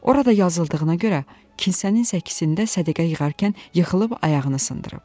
Orada yazıldığına görə, kilsənin səkisində sədəqə yığarkən yıxılıb ayağını sındırıb.